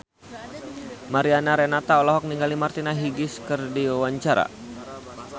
Mariana Renata olohok ningali Martina Hingis keur diwawancara